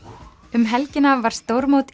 um helgina var stórmót